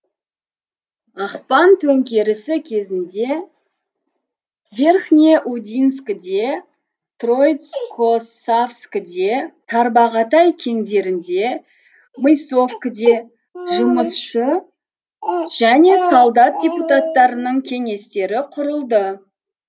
ақпан төңкерісі кезінде верхнеудинскіде троицкосавскіде тарбағатай кеңдерінде мысовкіде жұмысшы және солдат депуттарының кеңестері құрылды